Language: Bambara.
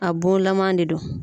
A bon lama de do.